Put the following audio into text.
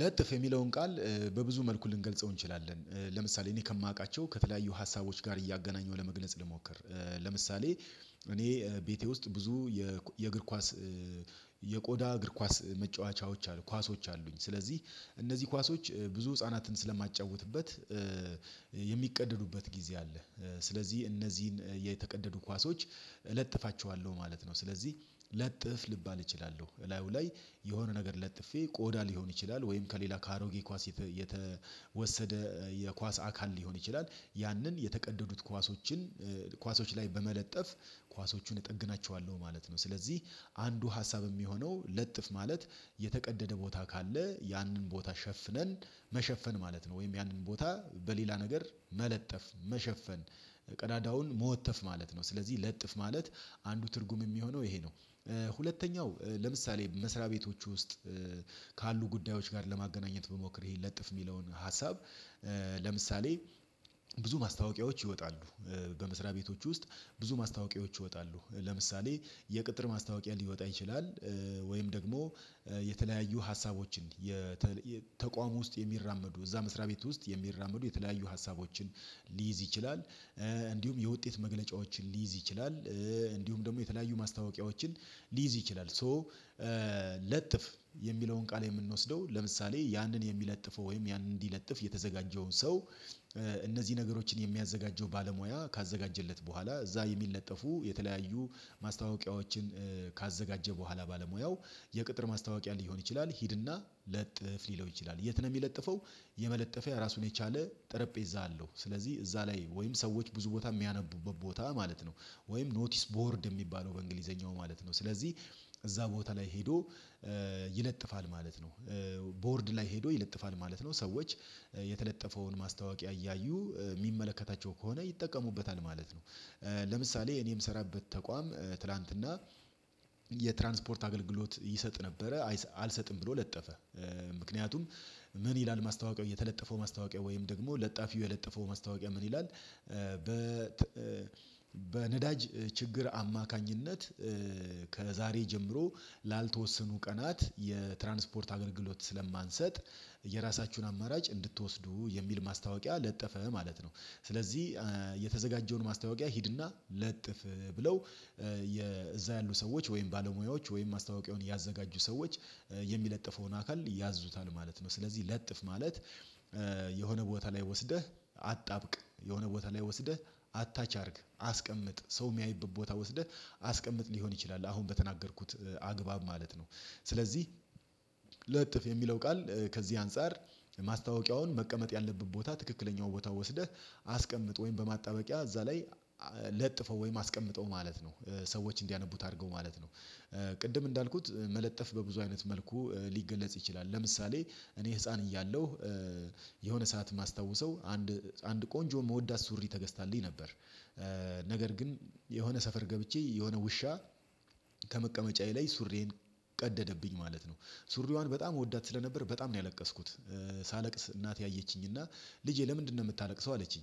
ለጥፍ የሚለውን ቃል በብዙ መልኩ ልንገልጸው እንችላለን ለምሳሌ እኔ ከማቃቸው ከተለያዩ ሀሳቦች ጋር እያገናኘሁ ለመግለጽ ልሞክር። ለምሳሌ እኔ ቤቴ ውስጥ ብዙ የእግር ኳስ የቆዳ እግር ኳስ መጫወቻዎች አሉ። ኳሶች አሉኝ ስለዚህ እነዚህ ኳሶች ብዙ ህፃናትን ስለማጫውትበት የሚቀደዱበት ጊዜ አለ። ስለዚህ እነዚህን የተቀደዱ ኳሶች እለጥፋቸዋለሁ ማለት ነው። ስለዚህ ለጥፍ ልባል እችላለሁ ላዩ ላይ የሆነ ነገር ለጥፌ ቆዳ ሊሆን ይችላል። ወይም ከሌላ ከአሮጌ ኳስ የተወሰደ የኳስ አካል ሊሆን ይችላል ያንን የተቀደዱት ኳሶችን ኳሶች ላይ በመለጠፍ ኳሶችን እጠግናቸዋለሁ ማለት ነው። ስለዚህ አንዱ ሀሳብ የሚሆነው ለጥፍ ማለት የተቀደደ ቦታ ካለ ያንን ቦታ ሸፍነን መሸፈን ማለት ነው። ወይም ያንን ቦታ በሌላ ነገር መለጠፍ መሸፈን ቀዳዳውን መወተፍ ማለት ነው። ስለዚህ ለጥፍ ማለት አንዱ ትርጉም የሚሆነው ይሄ ነው። ሁለተኛው ለምሳሌ መስሪያ ቤቶች ውስጥ ካሉ ጉዳዮች ጋር ለማገናኘት ብሞክር ይሄን ለጥፍ የሚለውን ሀሳብ። ለምሳሌ ብዙ ማስታወቂያዎች ይወጣሉ። በመስሪያ ቤቶች ውስጥ ብዙ ማስታወቂያዎች ይወጣሉ ለምሳሌ የቅጥር ማስታወቂያ ሊወጣ ይችላል። ወይም ደግሞ የተለያዩ ሀሳቦችን የተቃውሞ ውስጥ የሚራመዱ እዛ መስሪያ ቤት ውስጥ የሚራመዱ የተለያዩ ሀሳቦችን ሊይዝ ይችላል። እንዲሁም የውጤት መግለጫዎችን ሊይዝ ይችላል። እንዲሁም ደግሞ የተለያዩ ማስታወቂያዎችን ሊይዝ ይችላል። ሶ ለጥፍ የሚለውን ቃል የምንወስደው ለምሳሌ ያንን የሚለጥፈው ወይም ያንን እንዲለጥፍ የተዘጋጀውን ሰው። እነዚህ ነገሮችን የሚያዘጋጀው ባለሙያ ካዘጋጀለት በኋላ እዛ የሚለጠፉ የተለያዩ ማስታወቂያዎችን ካዘጋጀ በኋላ ባለሙያው የቅጥር ማስታወቂያ ሊሆን ይችላል። ሂድና ለጥፍ ሊለው ይችላል። የት ነው የሚለጥፈው? የመለጠፊያ ራሱን የቻለ ጠረጴዛ አለው ስለዚህ እዛ ላይ ወይም ሰዎች ብዙ ቦታ የሚያነቡበት ቦታ ማለት ነው። ወይም ኖቲስ ቦርድ የሚባለው በእንግሊዘኛው ማለት ነው። ስለዚህ እዛ ቦታ ላይ ሄዶ ይለጥፋል ማለት ነው። ቦርድ ላይ ሄዶ ይለጥፋል ማለት ነው። ሰዎች የተለጠፈውን ማስታወቂያ እያዩ ሚመለከታቸው ከሆነ ይጠቀሙበታል ማለት ነው። ለምሳሌ እኔም የምሰራበት ተቋም ትላንትና የትራንስፖርት አገልግሎት ይሰጥ ነበረ አልሰጥም ብሎ ለጠፈ። ምክንያቱም ምን ይላል ማስታወቂያው የተለጠፈው ማስታወቂያ ወይም ደግሞ ለጣፊው የለጠፈው ማስታወቂያ ምን ይላል? በ በነዳጅ ችግር አማካኝነት ከዛሬ ጀምሮ ላልተወሰኑ ቀናት የትራንስፖርት አገልግሎት ስለማንሰጥ የራሳችሁን አማራጭ እንድትወስዱ የሚል ማስታወቂያ ለጠፈ ማለት ነው። ስለዚህ የተዘጋጀውን ማስታወቂያ ሂድና ለጥፍ ብለው የዛ ያሉ ሰዎች ወይም ባለሙያዎች ወይም ማስታወቂያውን ያዘጋጁ ሰዎች የሚለጥፈውን አካል ያዙታል ማለት ነው። ስለዚህ ለጥፍ ማለት የሆነ ቦታ ላይ ወስደህ አጣብቅ የሆነ ቦታ ላይ ወስደህ አታች አድርግ አስቀምጥ ሰው የሚያይበት ቦታ ወስደህ አስቀምጥ ሊሆን ይችላል። አሁን በተናገርኩት አግባብ ማለት ነው። ስለዚህ ለጥፍ የሚለው ቃል ከዚህ አንፃር ማስታወቂያውን መቀመጥ ያለብን ቦታ ትክክለኛው ቦታ ወስደህ አስቀምጥ ወይም በማጣበቂያ እዛ ላይ ለጥፈው ወይም አስቀምጠው ማለት ነው። ሰዎች እንዲያነቡት አድርገው ማለት ነው። ቅድም እንዳልኩት መለጠፍ በብዙ አይነት መልኩ ሊገለጽ ይችላል። ለምሳሌ እኔ ህፃን እያለሁ የሆነ ሰዓት ማስታወሰው አንድ አንድ ቆንጆ ምወዳት ሱሪ ተገዝታለኝ ነበር። ነገር ግን የሆነ ሰፈር ገብቼ የሆነ ውሻ ከመቀመጫዬ ላይ ሱሪዬን ቀደደብኝ ማለት ነው። ሱሪዋን በጣም እወዳት ስለነበር በጣም ነው ያለቀስኩት። ሳለቅስ እናቴ አየችኝ እና ልጄ ለምንድነው የምታለቅሰው አለችኝ?